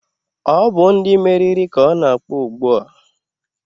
Ọ bụ ndị meriri ka ọ na-akpọ ugbua